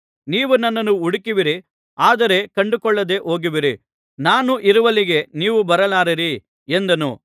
ನೀವು ನನ್ನನ್ನು ಹುಡುಕುವಿರಿ ಆದರೆ ಕಂಡುಕೊಳ್ಳದೆ ಹೋಗುವಿರಿ ನಾನು ಇರುವಲ್ಲಿಗೆ ನೀವು ಬರಲಾರಿರಿ ಎಂದನು